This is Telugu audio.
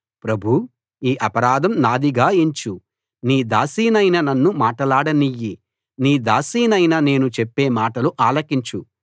ప్రభూ ఈ అపరాధం నాదిగా ఎంచు నీ దాసినైన నన్ను మాటలాడనియ్యి నీ దాసినైన నేను చెప్పేమాటలు ఆలకించు